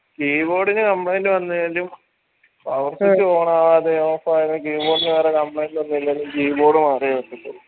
keyboard ന് complaint വന്നാലും power switch on ആവാതെയും off അവരെയും keyboard ന് വേറെ complaint ഒന്നുല്ലെങ്കില് keyboard മാറിയ വെച്ചിട്ട്